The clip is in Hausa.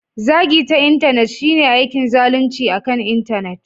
Zagi ta Intanet shine aikin zalunci akan Intanet.